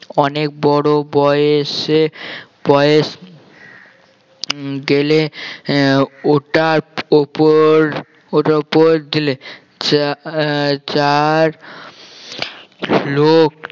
অনেক বড় বয়েসে বয়েস উম গেলে আহ ওটার ওপর ওটার ওপর গেলে চা~ চার লোক